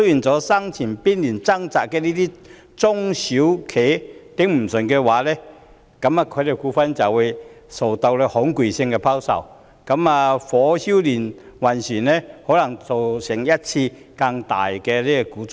在生存邊緣掙扎的中小企無法支持下去的話，他們的股票就會受到恐慌性拋售，火燒連環船，可能造成一次更大的股災。